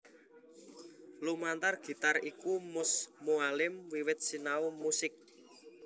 Lumantar gitar iku Mus Mualim wiwit sinau musik